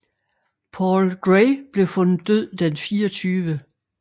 Paul Gray blev fundet død den 24